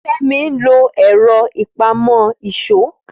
Fẹ́mi ń lo ẹ̀rọ ìpamọ́ ìṣó